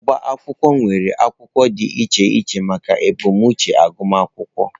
Ọbá akwụkwọ nwere akwụkwọ dị iche iche maka ebumnuche agụmakwụkwọ